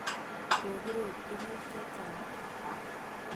Kokiro tuguk che chang'.